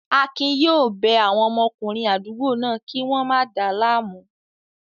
Akin yóò bẹ àwọn ọmọkùnrin àdúgbò náà kí wọ́n máa dáa láàmú